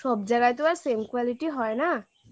সব জায়গায় তো আর same quality হয় না